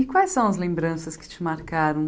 E quais são as lembranças que te marcaram?